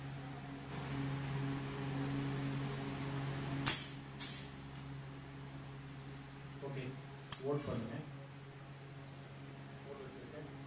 okay vote பண்ணுங்க pole வச்சிருக்கேன்